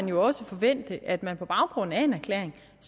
jo også forvente at man på baggrund af en erklæring